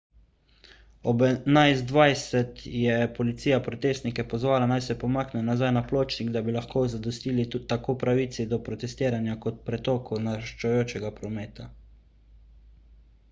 ob 11.20 je policija protestnike pozvala naj se pomaknejo nazaj na pločnik da bi lahko zadostili tako pravici do protestiranja kot pretoku naraščajočega prometa